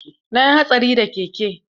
Na yi hatsari da keke.